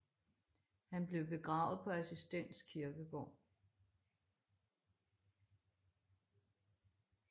Han blev begravet på Assistens Kirkegård